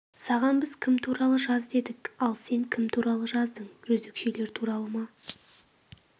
саған біз кім туралы жаз дедік ал сен кім туралы жаздың жезөкшелер туралы ма